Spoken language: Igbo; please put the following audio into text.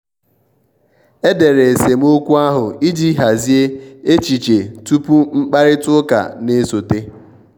e dere esemokwu ahụ iji hazie echiche tupu mkparịta ụka na-esote.